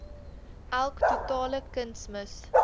elk totale kunsmis